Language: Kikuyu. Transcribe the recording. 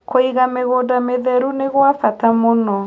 Kũĩga mĩgũnda mĩtherũ nĩgwa bata mũno